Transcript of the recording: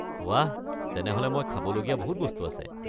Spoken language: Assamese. বাহ, তেনেহ'লে মই খাবলগীয়া বহুত বস্তু আছে।